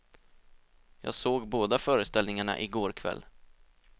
Jag såg båda föreställningarna i går kväll.